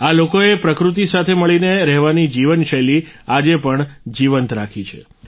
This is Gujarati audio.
આ લોકોએ પ્રકૃતિ સાથે મળીને રહેવાની જીવનશૈલી આજે પણ જીવંત રાખી છે